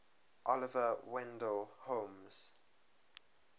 oliver wendell holmes